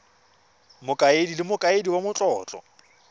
mokaedi le mokaedi wa matlotlo